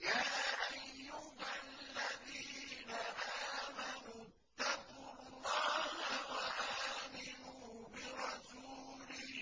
يَا أَيُّهَا الَّذِينَ آمَنُوا اتَّقُوا اللَّهَ وَآمِنُوا بِرَسُولِهِ